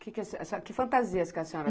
Que fantasias que a senhora...